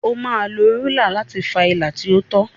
O máa lo rúlà láti fa ilà tí ó tọ.